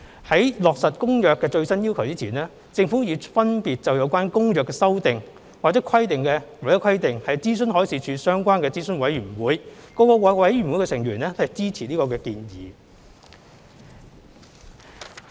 在落實《公約》的最新要求前，政府已分別就有關《公約》的修訂或規定諮詢海事處相關的諮詢委員會，各委員會的成員均支持建議。